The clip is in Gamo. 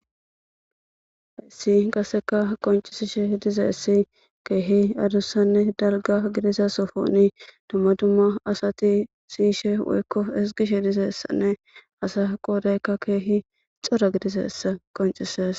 Sekin qasekka qoncisishe dizayssi kehi adussanne dalgga gidiza sohon dumma dumma asati siyishe woyko ezgishe de'zayssane asa qoday kehi cora gidizayssa qoncisses.